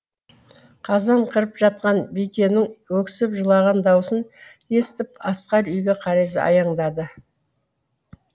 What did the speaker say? қазан қырып жатқан бикеннің өксіп жылаған даусын естіп асқар үйге қарай аяңдады